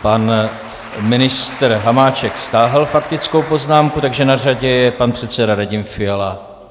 Pan ministr Hamáček stáhl faktickou poznámku, takže na řadě je pan předseda Radim Fiala.